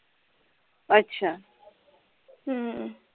ਅੱਛਾ